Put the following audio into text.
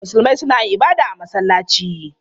Musulmai suna yin ibada a masallaci.